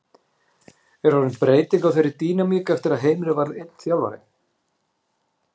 Er orðin breyting á þeirri dýnamík eftir að Heimir varð einn þjálfari?